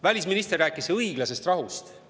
Välisminister rääkis õiglasest rahust.